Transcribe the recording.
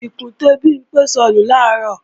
Ìkùntè Bimpé sọnù làárọ̀